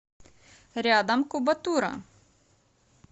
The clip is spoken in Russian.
рядом кубатура